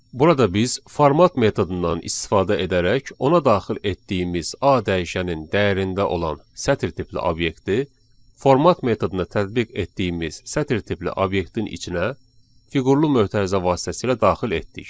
Burada biz format metodundan istifadə edərək ona daxil etdiyimiz A dəyişənin dəyərində olan sətir tipli obyekti, format metoduna tətbiq etdiyimiz sətir tipli obyektin içinə fiqurlu mötərizə vasitəsilə daxil etdik.